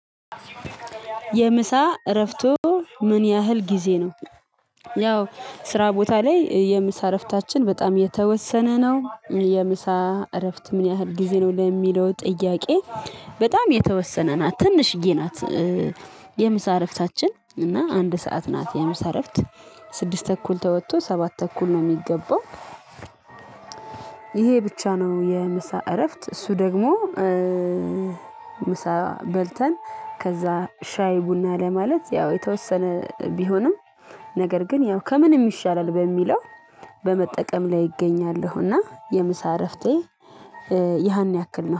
የምሳ እረፍቶ ምን ያህል ጊዜ ነው? ያው ስራ ቦታ ላይ የምሳ እረፍታችን በጣም የተወሰነ ነው። የምሳ እረፍት ምን ያህል ጊዜ ነው ለሚለው ጥያቄ? በጣም የተወሰነ ናት ትንሽ ጊዜ ናት። የምሳ እረፍታችን እና አንድ ሰዓት ናት የምሳ እረፍት። ስድስት ተኩል ተወጥቶ ሰባት ተኩል ነው የሚገባው። ይሄ ብቻ ነው የምሳ እረፍት እሱ ደግሞ። ምሳ በልተን ከዛ ሻይ ቡና ለማለት ያው የተወሰነ ቢሆንም። ነገር ግን ያው ከምንም ይሻላል በሚለው በመጠቀም ላይ እገኛለሁና። የምሳ እረፍቴ ያን ያክል ነው